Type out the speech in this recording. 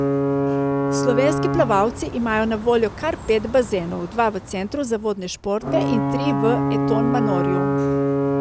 Slovenski plavalci imajo na voljo kar pet bazenov, dva v centru za vodne športe in tri v Eton Manorju.